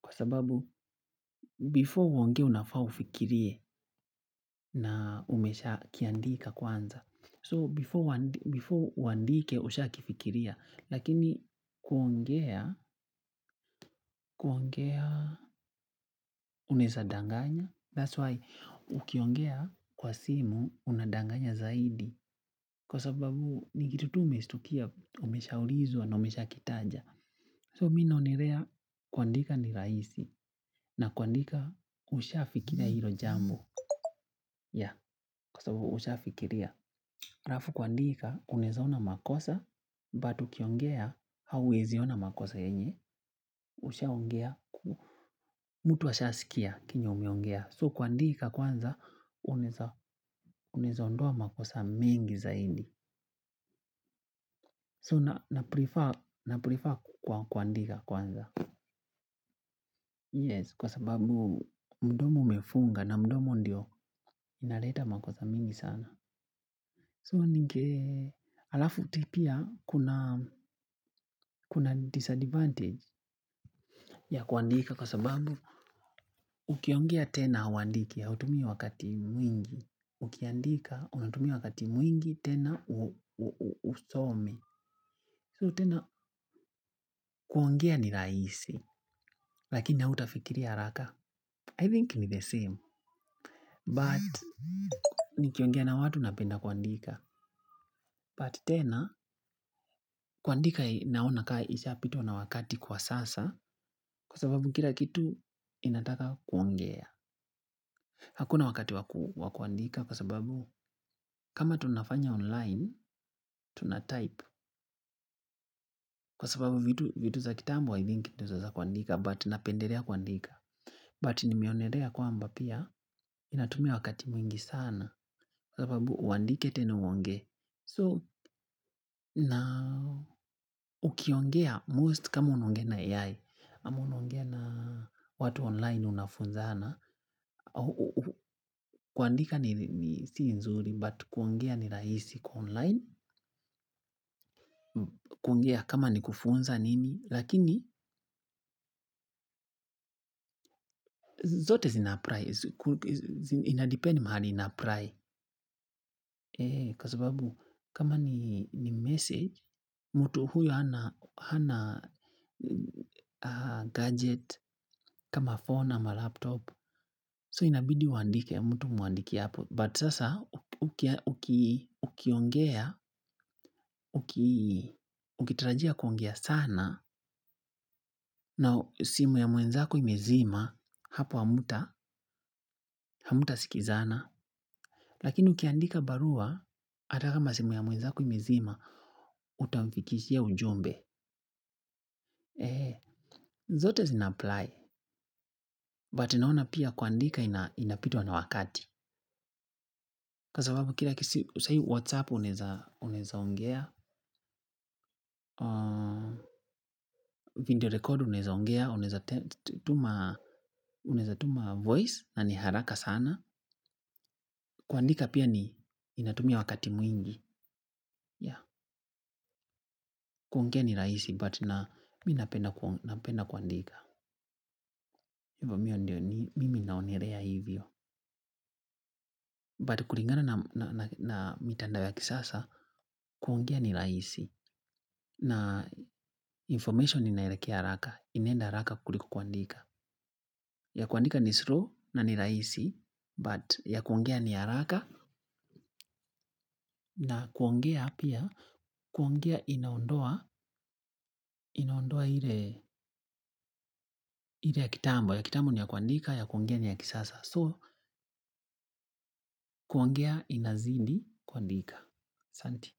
kwa sababu before uongee unafaa ufikirie na umeshakiandika kwanza so before uandike ushakifikiria lakini kuongea kuongea, unaeza danganya. That's why, ukiongea kwa simu, unadanganya zaidi. Kwa sababu, ni kitu tu umeshtukia, umeshaulizwa na umeshakitaja. So, mimi naonelea, kuandika ni rahisi, na kuandika, ushafikiria hilo jambo. Ya, kwa sababu, ushafikiria. Alafu kuandika, unaeza ona makosa, but ukiongea, hauezi ona makosa yenye ushaongea, mtu ashasikia, chenye umeongea so kuandika kwanza, unaeza ondoa a makosa mengi zaidi so na prefer kuandika kwanza yes kwa sababu mdomo umefunga na mdomo ndio inaleta makosa mengi sana So ninge, alafu pia, kuna disadvantage. Ya kuandika kwa sababu ukiongea tena hauandiki, hautumii wakati mwingi, ukiandika, unatumia wakati mwingi, tena husomi. So tena kuongea ni rahisi, lakini hautafikiria haraka, I think ni the same. But, nikiongea na watu napenda kuandika. But tena, kuandika naona ka ishapitwa na wakati kwa sasa, kwa sababu kila kitu inataka kuongea. Hakuna wakati wa kuandika kwa sababu kama tunafanya online, tunatype. Kwa sababu vitu za kitambo i think ndio za kuandika, but napendelea kuandika. But nimeonelea kwamba pia natumia wakati mwingi sana. Kwa sababu uandike tena uongee. So na ukiongea most kama unaongea na ai. Ama unaongea na watu online unafunzana. Kuandika ni si nzuri, but kuongea ni rahisi kwa online. Kuongea kama ni kufunza nini lakini zote zinapply inadepend mahali inapply kwa sababu kama ni message mtu huyo hana gadget kama phone ama laptop so inabidi uandike mtu umuandikie but sasa ukiongea ukitarajia kuongea sana na simu ya mwenzako imezima hapo hamtasikizana lakini ukiandika barua hata kama simu ya mwenzako imezima utamfikishia ujumbe zote zinapply but naona pia kuandika inapitwa na wakati kwa sababu saa hii whatsapp unaeza ongea Video record unaeza ongea. Unaeza tuma. Unaeza tuma voice na ni haraka sana. Kuandika pia ni inatumia wakati mwingi. Kuongea ni rahisi but na mimi napenda kuandika. Mimi naonelea hivyo. But kulingana na mitandao ya kisasa, kuongea ni rahisi. Na information inaelekea haraka. Inaenda haraka kuliko kuandika. Ya kuandika ni slow na ni rahisi, but ya kuongea ni haraka na kuongea pia, kuongea inaondoa, inaondoa ile ya kitambo. Ya kitambo ni ya kuandika, ya kuongea ni ya kisasa. So kuongea inazidi kuandika asanti.